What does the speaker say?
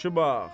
Yaxşı bax.